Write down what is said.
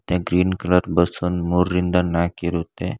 ಮತ್ತೆ green colour bus ಒಂದ್ ಮೂರರಿಂದ ನಾಕಿರುತ್ತೆ.